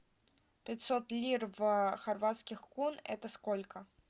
пятьсот лир в хорватских кун это сколько